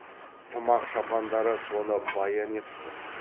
тымақ шапандары соны баян етіп тұр